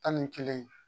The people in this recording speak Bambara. Tan ni kelen